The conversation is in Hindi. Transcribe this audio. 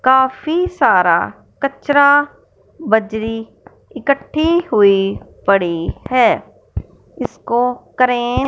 काफी सारा कचरा बजरी इकट्ठी हुई पड़ी है। इसको क्रेन --